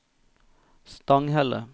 Stanghelle